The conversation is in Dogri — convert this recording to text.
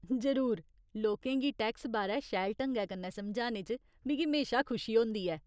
जरूर, लोकें गी टैक्स बारै शैल ढंगै कन्नै समझाने च मिगी म्हेशा खुशी होंदी ऐ।